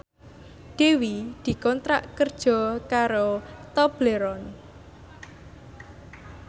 Dewi dikontrak kerja karo Tobleron